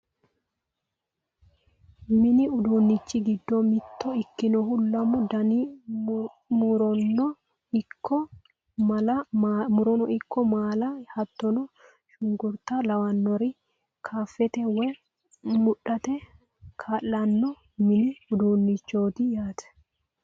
mini uduunnichi giddo mitto ikkinohu lamu dani murono ikko maala hattono shunkurta lawinore kattafate woy mudhate kaa'lanno mini uduunnichooti yaate.